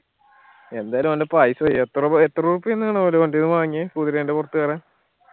എന്തായാലു ഓന്റെ paisa പോയി എത്ര എത്ര രൂപക്കായിരുന്ന് ആണ് അവരടെ കയ്യിന്ന് വാങ്‌യേ കുതിരെന്റെ പൊറത്ത് കേറാൻ